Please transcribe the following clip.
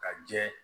Ka jɛ